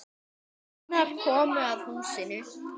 Gunnar komu að húsinu.